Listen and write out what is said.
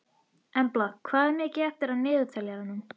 Embla, hvað er mikið eftir af niðurteljaranum?